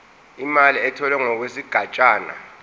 imali etholwe ngokwesigatshana